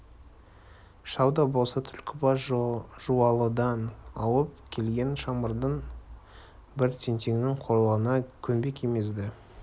шал да болса түлкібас-жуалыдан ауып келген шымырдың бір тентегінің қорлығына көнбек емес еді